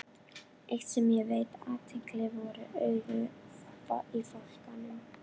Eitt, sem ég veitti athygli, voru augun í fálkaungunum.